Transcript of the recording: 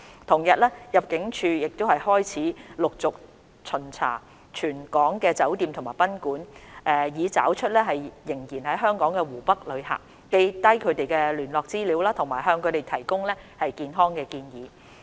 同日，入境處開始陸續巡查全港酒店及賓館，以找出仍然在港的湖北旅客，記下他們的聯絡資料，以及向他們提供健康建議。